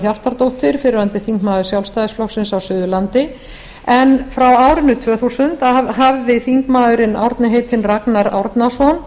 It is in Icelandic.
hjartardóttir fyrrverandi þingmaður sjálfstæðisflokksins á suðurlandi en frá árinu tvö þúsund hafði þingmaðurinn árni heitinn ragnar árnason